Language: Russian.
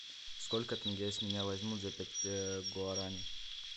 сколько тенге с меня возьмут за пять гуарани